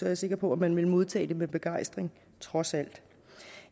jeg sikker på at man ville modtage det med begejstring trods alt